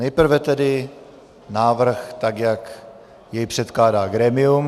Nejprve tedy návrh, tak jak jej předkládá grémium.